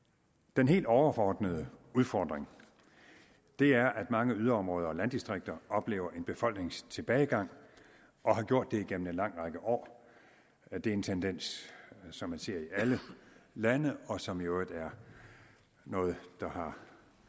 den helt overordnede udfordring er at mange yderområder og landdistrikter oplever en befolkningstilbagegang og har gjort det igennem en lang række år og det er en tendens som man ser i alle lande og som i øvrigt er noget der har